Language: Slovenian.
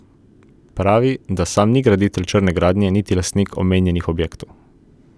Pravi, da sam ni graditelj črne gradnje niti lastnik omenjenih objektov.